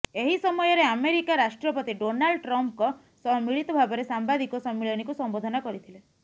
ଏହି ସମୟରେ ଆମେରିକା ରାଷ୍ଟ୍ରପତି ଡୋନାଲ୍ଡ ଟ୍ରମ୍ପଙ୍କ ସହ ମିଳିତ ଭାବରେ ସାମ୍ବାଦିକ ସମ୍ମିଳନୀକୁ ସମ୍ବୋଧନ କରିଥିଲେ